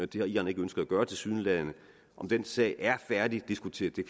det har iran ikke ønsket at gøre tilsyneladende om den sag er færdigdiskuteret kan